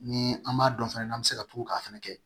Ni an m'a dɔn fɛnɛ n'an bɛ se ka tugu k'a fɛnɛ kɛ